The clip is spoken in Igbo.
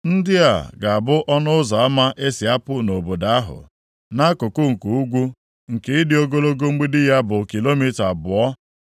“Ndị a ga-abụ ọnụ ụzọ ama e si apụ nʼobodo ahụ. “Nʼakụkụ nke ugwu, nke ịdị ogologo mgbidi ya bụ kilomita abụọ,